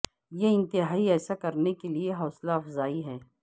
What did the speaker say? یہ انتہائی ایسا کرنے کے لئے حوصلہ افزائی ہے